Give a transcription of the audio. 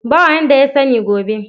Ba wanda ya sani gobe.